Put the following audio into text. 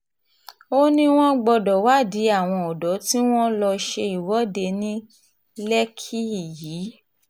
ó ní wọ́n gbọ́dọ̀ wádìí àwọn ọ̀dọ́ tí wọ́n lọ́ọ́ ṣe ìwọ́de ní lẹ́kìkí yìí